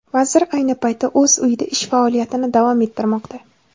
Vazir ayni paytda o‘z uyida ish faoliyatini davom ettirmoqda.